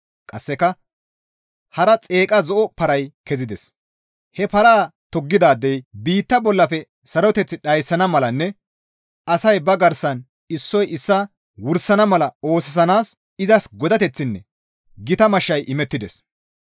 Qasseka hara xeeqa zo7o paray kezides; he paraa toggidaadey biitta bollafe saroteth dhayssana malanne asay ba garsan issoy issaa wursana mala oosisanaas izas godateththinne gita mashshay imettides.